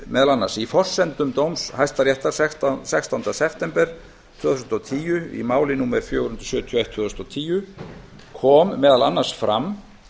meðal annars með leyfi forseta í forsendum dóms hæstaréttar sextánda september tvö þúsund og tíu í máli númer fjögur hundruð sjötíu og eitt tvö þúsund og tíu kom meðal annars fram